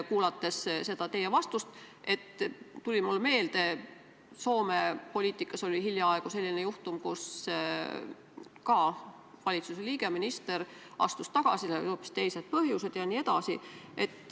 Kuulates teie vastust, tuli mulle meelde, et Soome poliitikas oli hiljaaegu selline juhtum, et valitsuse liige, minister, astus tagasi, tal olid hoopis teised põhjused jne.